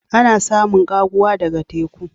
Ana samun kaguwa daga teku.